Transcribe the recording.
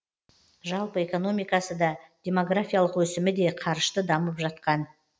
жалпы экономикасы да демографиялық өсімі де қарышты дамып жатқан